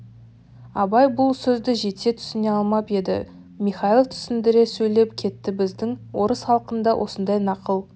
абай бұл сөзді жете түсіне алмап еді михайлов түсіндіре сөйлеп кетті біздің орыс халқында осындай нақыл